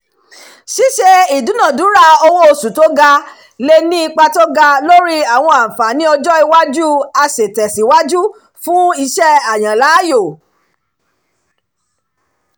ṣíṣe ìdúnadúrà owó oṣù tó ga le ní ipa tó ga lórí àwọn àǹfààní ọjọ́-iwájú aṣètẹ̀síwájú fún iṣẹ́-àyànláàyò